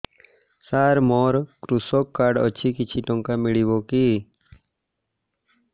ସାର ମୋର୍ କୃଷକ କାର୍ଡ ଅଛି କିଛି ଟଙ୍କା ମିଳିବ କି